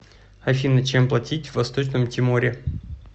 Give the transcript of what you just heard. афина чем платить в восточном тиморе